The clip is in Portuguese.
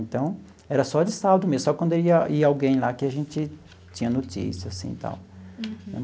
Então, era só de sábado mesmo, só quando ia ia alguém lá que a gente tinha notícia assim tal. Uhum.